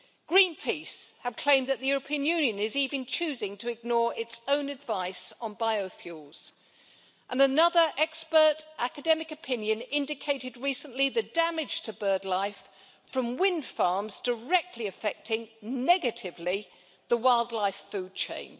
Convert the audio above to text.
Greenpeace have claimed that the European Union is even choosing to ignore its own advice on biofuels, and another expert academic opinion indicated recently the damage to birdlife from windfarms directly affecting negatively the wildlife food chain.